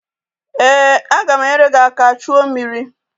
Ee, aga m enyere gị aka chuo mmiri